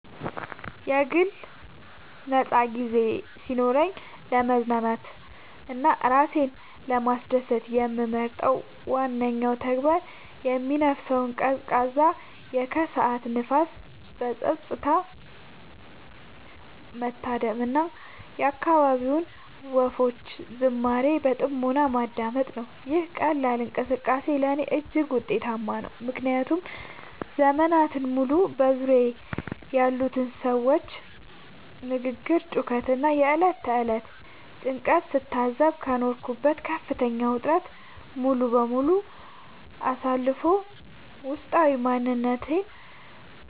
የግል ነፃ ጊዜ ሲኖረኝ ለመዝናናት እና ራሴን ለማስደሰት የምመርጠው ዋነኛው ተግባር የሚነፍሰውን ቀዝቃዛ የከሰዓት ንፋስ በፀጥታ መታደም እና የአካባቢውን ወፎች ዝማሬ በጥሞና ማዳመጥ ነው። ይህ ቀላል እንቅስቃሴ ለእኔ እጅግ ውጤታማ ነው፤ ምክንያቱም ዘመናትን ሙሉ በዙሪያዬ ያሉትን የሰዎች ግርግር፣ ጩኸት እና የዕለት ተዕለት ጭንቀት ስታዘብ ከኖርኩበት ከፍተኛ ውጥረት ሙሉ በሙሉ አሳርፎ ውስጣዊ ማንነቴን